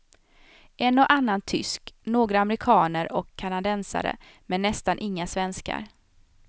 En och annan tysk, några amerikaner och kanadensare men nästan inga svenskar.